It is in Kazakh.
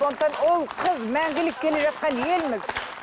сондықтан ұл қыз мәңгілік келе жатқан елміз